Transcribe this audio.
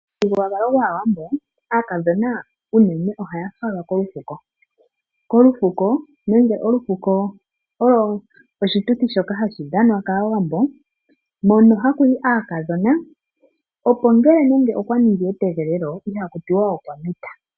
Momuthigululwakalo gwAawambo aakadhona unene ohaya falwa kolufuko. Olufuko olwo oshituthi shoka hashi dhanwa kAawambo, mono haku yi aakadhona, opo ngele okwa ningi etegelelo, ihaku tiwa okwa mita.